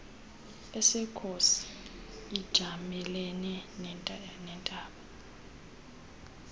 esekhosi ijamelene nentaba